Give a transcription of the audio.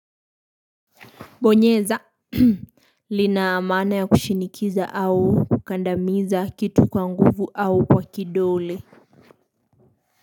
Bonyeza lina maana ya kushinikiza au kukandamiza kitu kwa nguvu au kwa kidole.